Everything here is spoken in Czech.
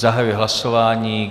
Zahajuji hlasování.